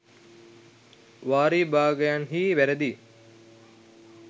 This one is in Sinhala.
වාර විභාගයන්හි වැරදි